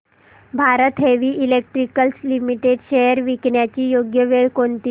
Bharat heavy electricals limited shares विकण्याची योग्य वेळ कोणती